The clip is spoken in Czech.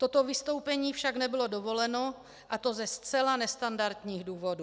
Toto vystoupení však nebylo dovoleno, a to ze zcela nestandardních důvodů.